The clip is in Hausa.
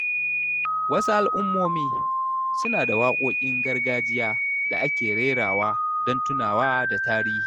Wasu al’ummomi suna da waƙoƙin gargajiya da ake rerawa don tunawa da tarihi.